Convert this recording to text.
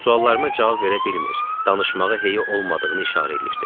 Suallarıma cavab verə bilmir, danışmağa heyi olmadığını işarə eləyirdi.